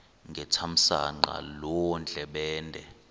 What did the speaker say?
ngethamsanqa loo ndlebende